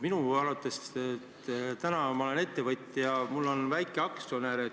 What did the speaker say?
Ma olen ettevõtja, mul on väikeaktsionäre.